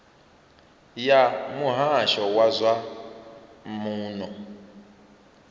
ya muhasho wa zwa muno